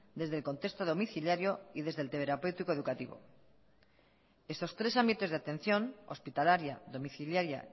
desde el contexto domiciliario y desde el terapéutico educativo estos tres ámbitos de atención hospitalaria domiciliaria